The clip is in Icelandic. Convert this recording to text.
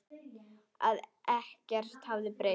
Að ekkert hefði breyst.